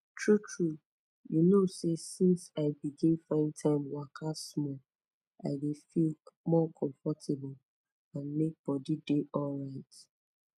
true true you know say since i begin find time waka small i dey feel more comfortable and make bodi dey alright